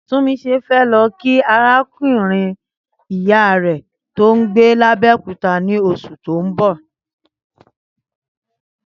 Túnmiṣe fẹ́ lọ kí arákùnrin ìyá rẹ̀ tó ń gbé ní Abẹ́òkúta ní oṣù tó ń bọ̀